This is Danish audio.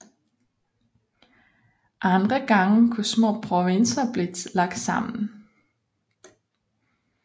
Andre gange kunne små provinser blive lagt sammen